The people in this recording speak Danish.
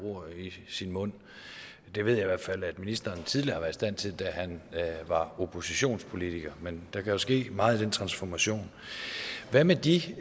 ord i sin mund det ved jeg i hvert fald at ministeren tidligere har været i stand til da han var oppositionspolitiker men der kan jo ske meget i den transformation hvad med de